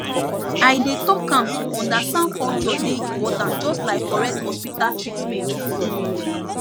i dey talk am to understand culture dey important just like correct hospital treatment um